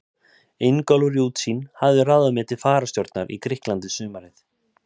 Ingólfur í Útsýn hafði ráðið mig til fararstjórnar í Grikklandi sumarið